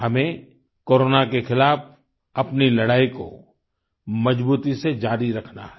हमें कोरोना के ख़िलाफ़ अपनी लड़ाई को मज़बूती से जारी रखना है